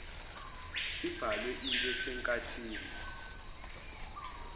ibhalwe ibe senkathini